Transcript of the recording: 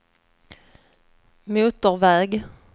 motorväg